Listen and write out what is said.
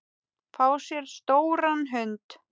Fá sér stóran hund?